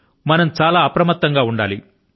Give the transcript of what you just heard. మనం చాలా అప్రమత్తం గా ఉండాలి